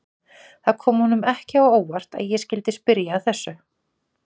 Það kom honum ekki á óvart að ég skyldi spyrja að þessu.